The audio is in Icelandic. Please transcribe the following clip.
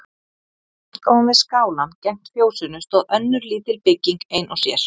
Skammt ofan við skálann gegnt fjósinu stóð önnur lítil bygging ein og sér.